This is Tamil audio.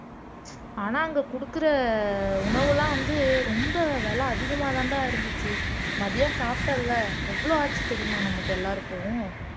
ஆனா அங்க குடுக்கிற உணவெல்லாம் வந்து ரொம்ப விலை அதிகமாதான்டா இருந்துச்சு மதியம் சாப்பிட்டேன்ல எவ்வளவு ஆச்சு தெரியுமா நமக்கு எல்லாருக்கும்